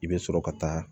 I bɛ sɔrɔ ka taa